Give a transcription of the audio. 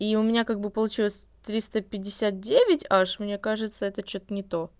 и у меня как бы получилось триста пятьдесят девять аш мне кажется это что-то не то